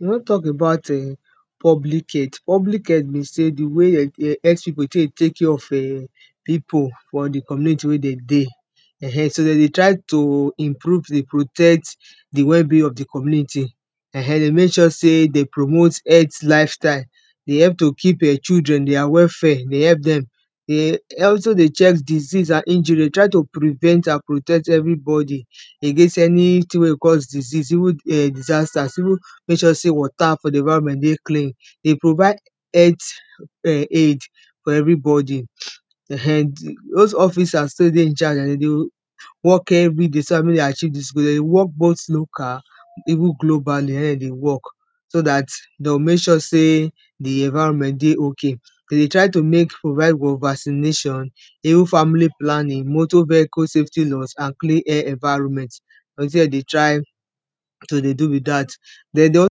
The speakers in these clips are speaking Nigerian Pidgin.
we won talk about eh public health. public health na di way health pipu go tek dey take are of pipu for di community wen den dey um. dey dey try to improve dey protect di wellbeing of di community um de mek sure sey de promote health lifestyle, dey help to keep children their welfare dey help dem dey also dey check diseases an injury de try to prevent and protect everybody against anytin wey disease disaster mek sure sey water for di environment dey very clean. dey provide first aid for everybody um those officers too wey dey in charge dem dey work everyday so dat mek dem achieve dis goal, dem dey work both local even globally um dey work so dat dey would mek sure sey di environment dey ok den dey try to make provide for vaccination even family planning, motor vehicle safety and clean environment, dey try to de do be dat. de dey also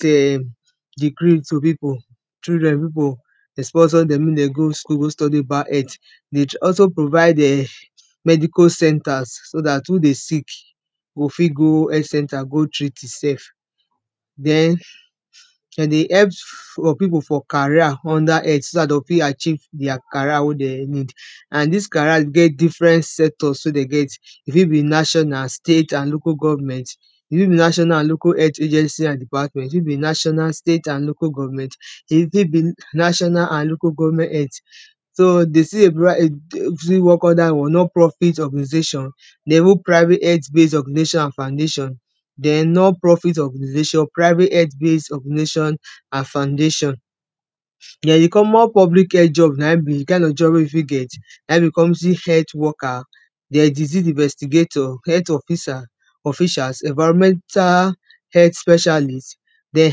to pipu children pipu dey sponsor dem mek dem go school go study about health dey also provide um medical centers so dat who dey sick go fit go health center go treat e self den de dey elp for pipu for career under health so dat dey o fit achieve di career wey den need and dis career get different setups wey den get e fit be national, state and local government e fit be national and local health agency and department, e fit be national, state and local government, e fit be national and local govenment health so dey sey under non-profit organization de even primary health base education and foundation den non-profit organization, private health base organization and foundation. den di common public job na im be kin job wey you fit get na in be community health worker, den disease investigator, health officer officials, environmental health specialties den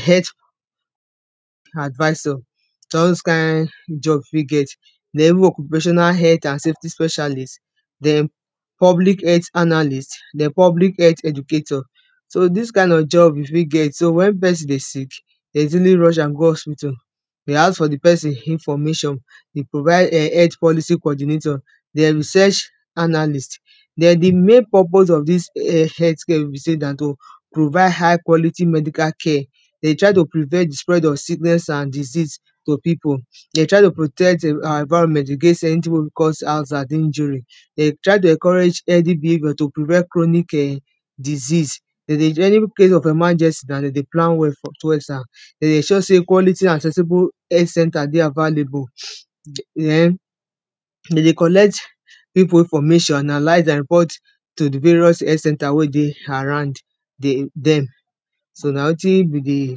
health advisor. so all those kin jobs wey get de even occupational health and safety specialties, public health analyst den public health educator. so dis kind of job use fit get so wen pesin dey sick dey easily rush am go hospital dey ask for di pesin information dey provide health policy coordination, den research analyst den di main purpose of dis health care na to provide high quality medical care. dey try to prevent di spread of sickness and diseases to pipu, de dey try to protect our environment against because, de dey try to encourage any behaviour to prevent chronic um diease, de dey enable of emergency plan well for de dey sure sey quality and sensible health center dey available, den dey de collect pipu information and report to di various health center wey dey around dey dem so na wetin be di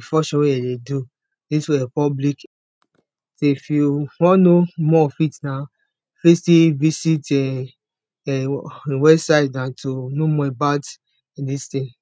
function wey de dey do into public so if you won know more of it now fit still visit um website na to know more about dis tin.